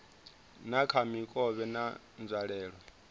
dza kha mikovhe na nzwalelo